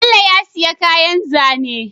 Bello ya siya kayan zane